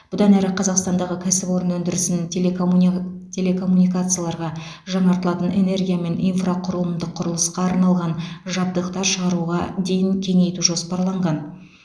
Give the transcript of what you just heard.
бұдан әрі қазақстандағы кәсіпорын өндірісінің телекоммуни телекоммуникацияларға жаңартылатын энергия мен инфрақұрылымдық құрылысқа арналған жабдықтар шығаруға дейін кеңейту жоспарланған